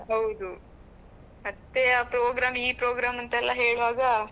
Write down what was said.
ಹೌದು ಮತ್ತೆ ಆ program ಈ program ಅಂತ ಎಲ್ಲ ಹೇಳುವಾಗ.